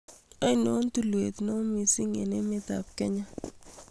Ainon tulwet ne goi miising' eng' emetap Kenya